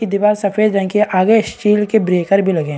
ये दीवार सफेद रंग की है आगे स्टील के ब्रेकर भी लगे --